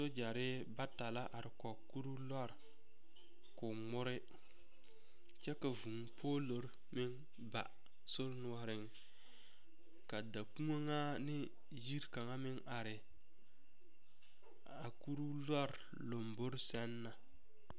Sogyare bata la are kɔge kurooloori k'o ŋmɔre kyɛ ka vūū poloro meŋ ba sori noɔreŋ ka dakoɔŋaa ne yiri kaŋa ĵ are kutoo loori lomborI sɛŋ na.